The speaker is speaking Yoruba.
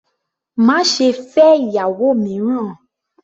Má ṣe fẹ́ ìyàwó mìíràn!